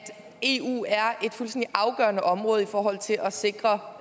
eu er et fuldstændig afgørende område i forhold til at sikre